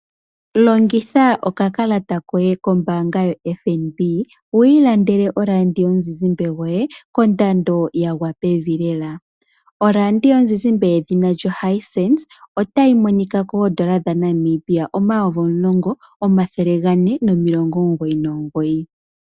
Longitha okakalata koye kombaanga yoFNB wu ilandele oradiomuzizimba yoye kondando ya gwa pevi lela. Oradiomuzizimba yedhina lyo Hisense otayi monika koondola dha Namibia omayovi omulongo omathele ga ne, nomilongo omugoyi nomugoyi.